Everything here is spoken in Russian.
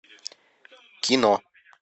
кино